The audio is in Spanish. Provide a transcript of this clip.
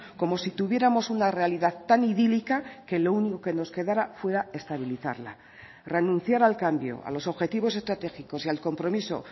como si tuviéramos una realidad tan idílica que lo único que nos quedara fuera estabilizarla renunciar al cambio a los objetivos estratégicos y al compromiso